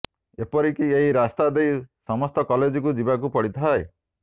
ଏପରି କି ଏହି ରାସ୍ତା ଦେଇ ସମସ୍ତ କଲେଜକୁ ଯିବାକୁ ପଡିଥାଏ